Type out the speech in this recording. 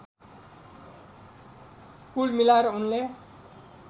कुल मिलाएर उनले